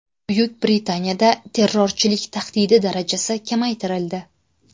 Buyuk Britaniyada terrorchilik tahdidi darajasi kamaytirildi.